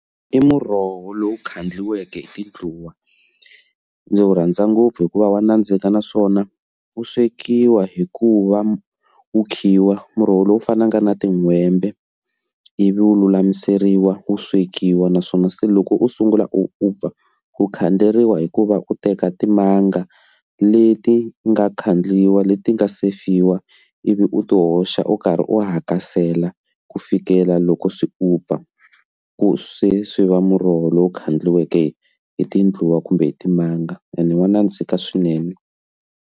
I muroho lowu khandliweke hi tindluwa ndzi wu rhandza ngopfu hikuva wa nandzika naswona wu swekiwa hikuva wu khiwa muroho lowu fanaka na tin'hwembe ivi u lulamiseriwa wu swekiwa naswona se loko u sungula u over ku khanseriwa hikuva u teka timanga leti nga khandliwa leti nga sefiwa ivi u u ti hoxa u karhi u hakasela ku fikela loko se u pfa ku swe swi va muroho lowu kha endliweke hi tindluwa kumbe hi timanga ene wa nandzika swinene.